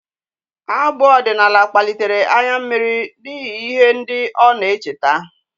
Abụ ọdịnala kpalitere anya mmiri n'ihi ihe ndị ọ na-echeta